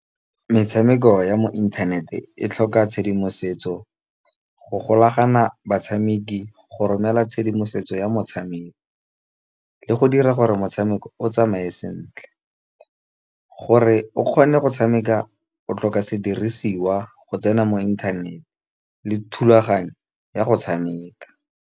Metshameko ya mo inthanete e tlhoka tshedimosetso go golagana batshameki, go romela tshedimosetso ya motshameko, le go dira gore motshameko o tsamaye sentle. Gore o kgone go tshameka o tlhoka sedirisiwa go tsena mo inthanete le thulaganyo ya go tshameka.